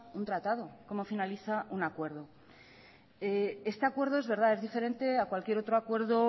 un tratado cómo finaliza un acuerdo este acuerdo es verdad es diferente a cualquier otro acuerdo